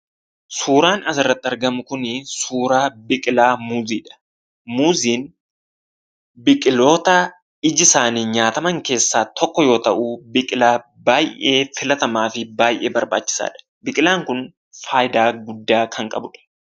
Suuraan asirratti argamu kuni suuraa biqilaa muuziidha. Muuziin biqiloota iji isaanii nyaataman keessaa tokko yoo ta'u, biqilaa baay'ee filatamaafi baay'ee barbaachisaadha. Biqilaan kun faayidaa guddaa kan qabudha.